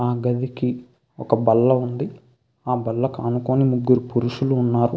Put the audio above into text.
ఆ గదికి ఒక బల్ల ఉంది ఆ బల్లకి అనుకొని ముగ్గురు పురుషులు ఉన్నారు.